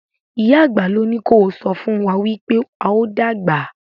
ìyá àgbà ló ní kò sọfún wá wípé ào dàgbà?